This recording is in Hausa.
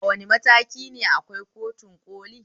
A wane matakine akwai kotun ƙoli?